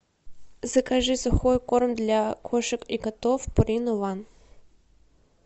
закажи сухой корм для кошек и котов пурина ван